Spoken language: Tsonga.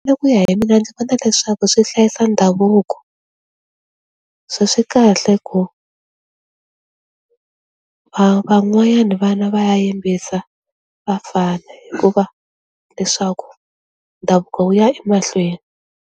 Hi ku ya hi mina ndzi vona leswaku swi hlayisa ndhavuko, so swi kahle hi ku va van'wanyana vana va ya yimbisa vafana hikuva leswaku ndhavuko wu ya emahlweni.